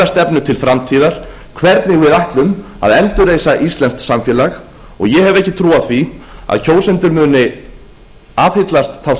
stefnu til framtíðar hvernig við ætlum að endurreisa íslenskt samfélag og ég hef ekki trú á því að kjósendur muni aðhyllast þá